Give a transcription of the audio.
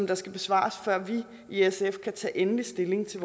der skal besvares før vi i sf kan tage endelig stilling til